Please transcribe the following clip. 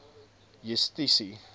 justisie